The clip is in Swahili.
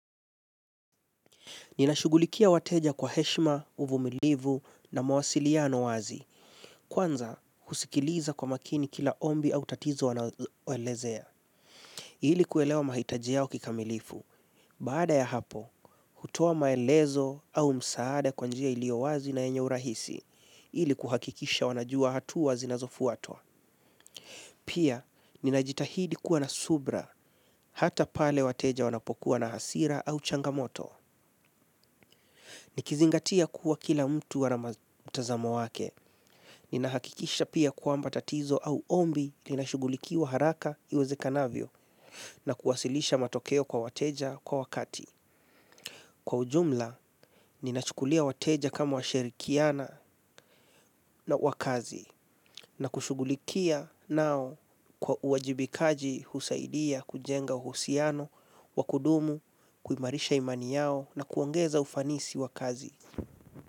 Ninashughulikia wateja kwa heshima, uvumilivu na mawasiliano wazi. Kwanza, husikiliza kwa makini kila ombi au tatizo wanaoelezea. Ili kuelewa mahitaji yao kikamilifu. Baada ya hapo, hutoa maelezo au msaada kwa njia iliyo wazi na yenye urahisi. Ili kuhakikisha wanajua hatua zinazofuatwa. Pia, ninajitahidi kuwa na subira hata pale wateja wanapokuwa na hasira au changamoto. Nikizingatia kuwa kila mtu ana mtazamo wake. Ninahakikisha pia kwamba tatizo au ombi linashughulikiwa haraka iwezekanavyo na kuwasilisha matokeo kwa wateja kwa wakati. Kwa ujumla, ninachukulia wateja kama washirikiana wa kazi na kushughulikia nao kwa uwajibikaji husaidia kujenga uhusiano wa kudumu, kuimarisha imani yao na kuongeza ufanisi wa kazi.